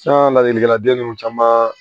Tiɲɛna ladilikan den ninnu caman